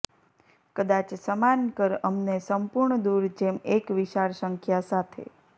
કદાચ સમાન કર અમને સંપૂર્ણ દૂર જેમ એક વિશાળ સંખ્યા સાથે